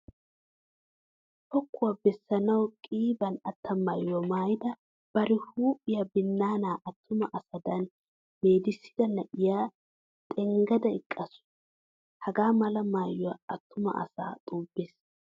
Pokkuwa bessanawu qiiben atta maayuwa maayada bari huuphiya binnaanaa attuma asadan meedissida na'iya xenggada eqqaasu. Hagaa mala maayoy attuma asaa xubbees.